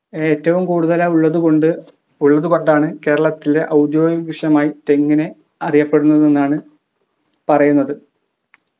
ഏറ്റവും കൂടുതൽ ആയി ഉള്ളത് കൊണ്ട് ഉള്ളത് കൊണ്ടാണ് കേരളത്തിലെ ഔദ്യോഗിക വൃക്ഷമായി തെങ്ങിനെ അറിയപ്പെടുന്നത് എന്നാണ് പറയുന്നത്